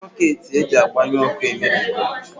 Socketị eji agbanye ọkụ emebigo